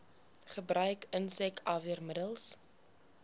gebruik insek afweermiddels